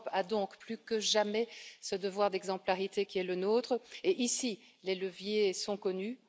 L'Europe a donc, plus que jamais, ce devoir d'exemplarité qui est le nôtre et, ici, les leviers sont connus.